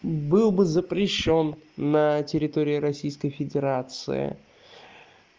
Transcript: был бы запрещён на территории российской федерации